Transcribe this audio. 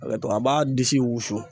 A b'a disi wusu.